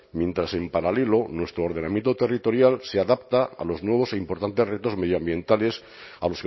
mientras en paralelo nuestro ordenamiento territorial se adapta a los nuevos e importantes retos medioambientales a